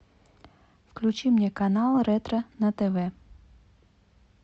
включи мне канал ретро на тв